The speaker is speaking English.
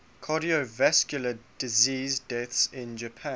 cardiovascular disease deaths in japan